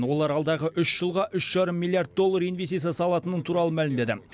олар алдағы үш жылға үш жарым миллиард доллар инвестиция салатыны туралы мәлімдеді